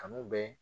Kanu bɛ